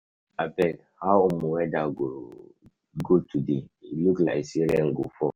Abeg, how weather go today? um look like say rain go fall.